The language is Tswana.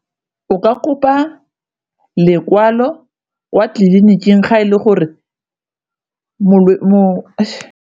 O ka kopa lekwalo wa tleliniking ga e le gore .